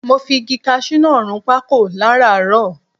Mo fi igi kaṣú náà run pákò láràárọ.